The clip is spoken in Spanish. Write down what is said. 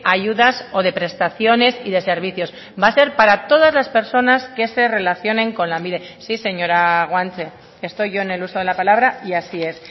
ayudas o de prestaciones y de servicios va a ser para todas las personas que se relacionen con lanbide sí señora guanche estoy yo en el uso de la palabra y así es